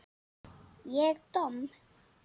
Ég domm?